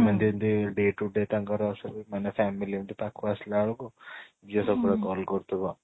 ଏମିତି ଏମିତି day to day ତାଙ୍କର ସ ମାନେ family ଏମିତି ପାଖକୁ ଆସିଲା ବେଳକୁ ପୁରା call କରୁ ଥିବ